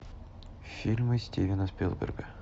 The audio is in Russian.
фильмы стивена спилберга